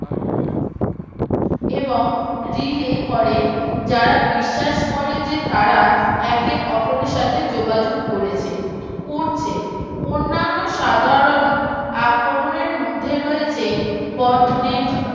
এবং Relay করে যারা বিশ্বাস করে যে তারা একে অপরের সাথে যোগাযোগ করেছে করছে অন্যান্য সাধারণ আক্রমণের মধ্যে রয়েছে Dot Net